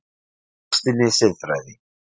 Í KRISTINNI SIÐFRÆÐI